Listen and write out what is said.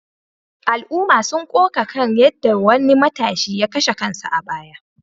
Al’umma sun koka kan yadda wani matashi ya kashe kansa a baya